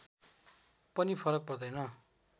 पनि फरक पर्दैन